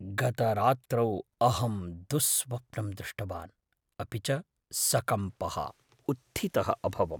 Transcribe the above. गतरात्रौ अहं दुःस्वप्नं दृष्टवान्, अपि च सकम्पः उत्थितः अभवम्।